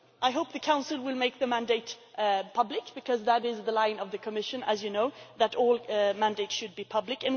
I hope the Council will make the mandate public because that is the line of the Commission, as you know that all mandates should be public.